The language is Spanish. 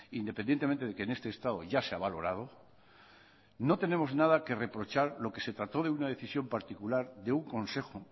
independientemente de que en este estado ya se ha valorado no tenemos nada que reprochar lo que se trató de una decisión particular de un consejo